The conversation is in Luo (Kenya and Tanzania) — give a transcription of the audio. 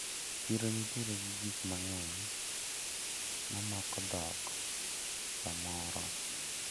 Chiro nitiere gi gikmang`eny mamako dhok to moro.